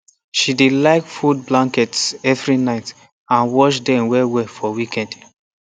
she dey like fold blankets evri night and wash dem wellwell for weekend